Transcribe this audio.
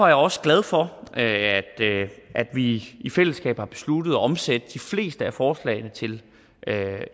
jeg også glad for at vi i fællesskab har besluttet at omsætte de fleste af forslagene til